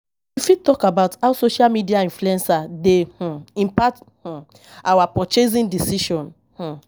You fit talk about how social media influencers dey um impact um our purchasing decisions. um